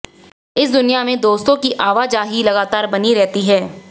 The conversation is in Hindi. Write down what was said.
इस दुनिया में दोस्तों की आवाजाही लगातार बनी रहती है